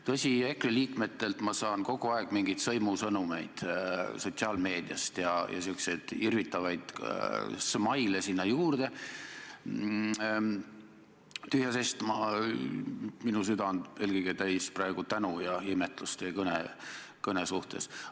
Tõsi, EKRE liikmetelt ma saan kogu aeg mingeid sõimusõnumeid sotsiaalmeediast ja niisuguseid irvitavaid smile'e sinna juurde, aga tühja sest, minu süda on eelkõige täis praegu tänu ja imetlust teie kõne suhtes.